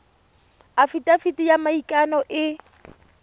afitafiti ya maikano e e